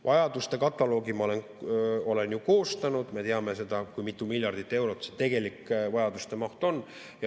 Vajaduste kataloogi ma olen ju koostanud, me teame seda, kui mitu miljardit eurot see tegelik vajaduste maht on.